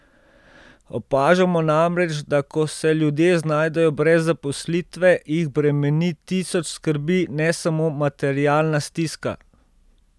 Opažamo namreč, da ko se ljudje znajdejo brez zaposlitve, jih bremeni tisoč skrbi, ne samo materialna stiska.